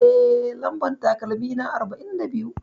Eh, Lambar takalmina arba'in da biyu.